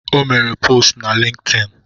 O mere postu na Lintin